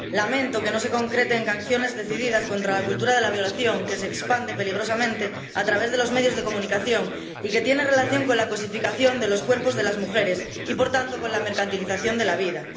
Lamento que no se concrete en sanciones decididas contra la cultura de la violación, que se expande peligrosamente a través de los medios de comunicación y que tiene relación con la cosificación de los cuerpos de las mujeres y, por tanto, con la mercantilización de la vida.